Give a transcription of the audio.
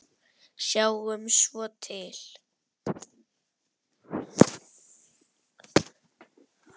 Sjáum svo til.